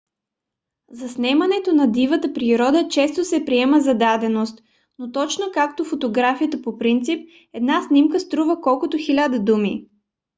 заснемането на дивата природа често се приема за даденост но точно както фотографията по принцип една снимка струва колкото хиляда думи